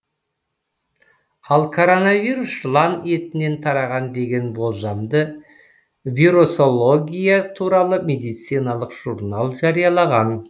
ал коронавирус жылан етінен тараған деген болжамды вирусология туралы медициналық журнал жариялаған